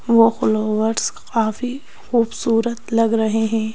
वो फॉलोअर्स काफी खूबसूरत लग रहे हैं।